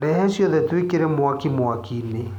Rehe ciothe twĩkĩre mwaki mwakinĩ.